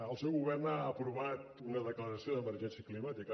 el seu govern ha aprovat una declaració d’emergència climàtica